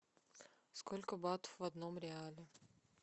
сколько бат в одном реале